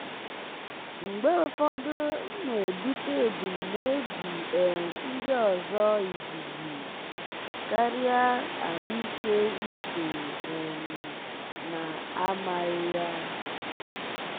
mgbe ụfọdụ m na-ebute ebumnobi um ndị ọzọ izizi um karịa ahụike uche um m na-amaghị ya.